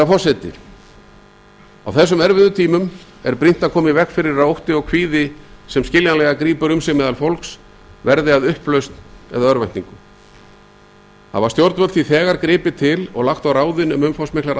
forseti á þessum erfiðum tímum er brýnt að koma í veg fyrir að ótti og kvíði sem skiljanlega grípur um sig meðal fólks verði að upplausn eða örvæntingu hafa stjórnvöld því þegar gripið til og lagt á ráðin um umfangsmiklar